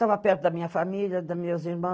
Tava perto da minha família, das minhas irmãs